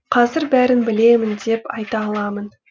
қазір бәрін білемін деп айта аламын